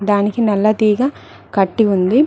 దానికి నల్ల తీగ కట్టి ఉంది.